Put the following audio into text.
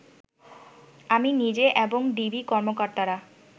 আমি নিজে এবং ডিবি কর্মকর্তারা